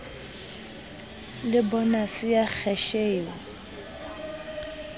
le bonase ya kheshe eo